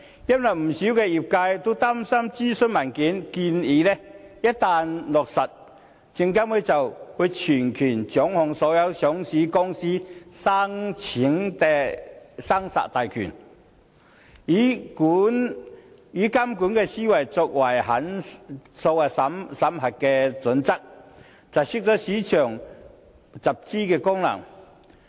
因為不少業界都擔心諮詢文件的建議一旦落實，證監會將全權掌控所有上市公司申請的生殺大權，以監管思維作為審核準則，窒礙市場集資功能。